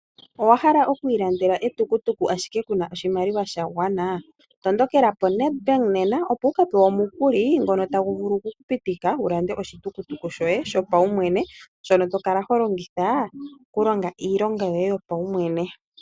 Owa hala oku ilandela etukutuku ashike ku na oshimaliwa sha gwana? Tondokela poNedbank nena, opo wu ka pewe omukuli ngono tagu vulu oku ku pitika wu lande oshitukutuku shoye shopaumwe shono to kala ho longitha okulonga iimaliwa yoye yopaumwene.